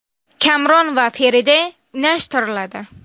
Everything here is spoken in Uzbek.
Kamron va Feride unashtiriladi.